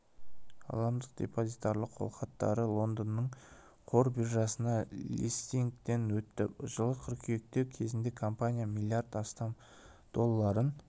ғаламдық депозитарлық қолхаттары лондонның қор биржасында листингтен өтті жылғы қыркүйекте кезінде компания миллиард астам долларын